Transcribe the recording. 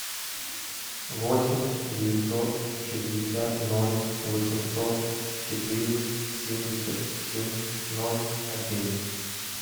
восемь девятьсот шестьдесят ноль восемьсот четыре семьдесят семь ноль один